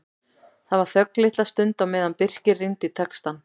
Það var þögn litla stund á meðan Birkir rýndi í textann.